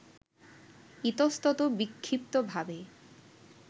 ইতস্তত বিক্ষিপ্তভাবে